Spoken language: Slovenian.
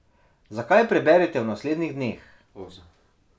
Zakaj, preberite v naslednjih dneh.